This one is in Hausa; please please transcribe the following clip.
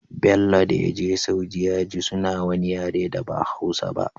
Bello dayaje saudi yaji suna wani yare da ba hausa ba